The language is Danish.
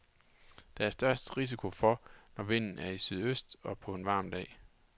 Der er størst risiko for, når vinden er i sydøst på en varm dag.